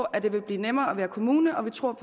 at det vil blive nemmere at være kommune og vi tror